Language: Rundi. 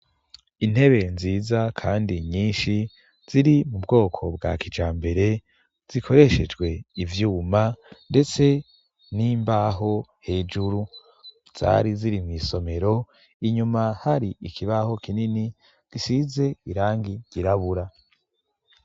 Intebe nziza kandi nyinshi ziri mu bwoko bwa kijambere, zikoreshejwe ivyuma ndetse n'imbaho hejuru; zari ziri mw'isomero, inyuma hari ikibaho kinini gisize irangi ryirabura.